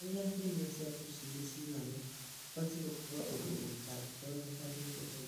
Kũrĩa irio cia tũcui cigagwo kũbatiĩ gũkorwo ũndũ gũtangĩtonyeka nĩ memenyi.